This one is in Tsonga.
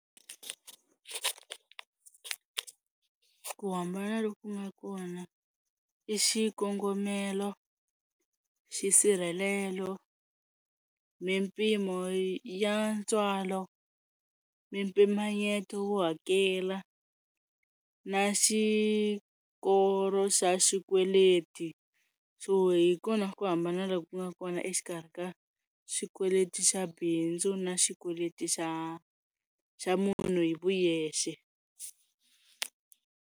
Ku hambana loku nga kona i xikongomelo, xisirhelelo, mimpimo ya ntswalo, mimpimanyeto wo hakela na xikolo xa xikweleti so hi kona ku hambana loku nga kona exikarhi ka xikweleti xa bindzu na xikweleti xa xa munhu hi vuyexe.